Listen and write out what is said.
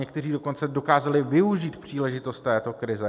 Někteří dokonce dokázali využít příležitost této krize.